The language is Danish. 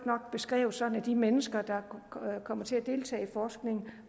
nok beskrevet så de mennesker der kommer til at deltage i forskning